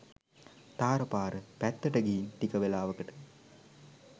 තාර පාර පැත්තට ගිහින් ටික වේලාවකට